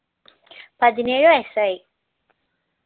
പതിനേഴ് വയസ്സായി